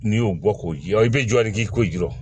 N'i y'o bɔ k'o jɔ i b'i jɔ de k'i ko ji jɔ